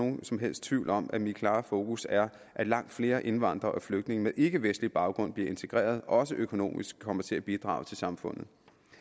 som helst tvivl om at mit klare fokus er at langt flere indvandrere og flygtninge med ikkevestlig baggrund bliver integreret og også økonomisk kommer til at bidrage til samfundet